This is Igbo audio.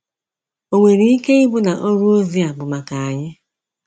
O nwere ike ị bụ na ọrụ ozi a bụ maka anyị?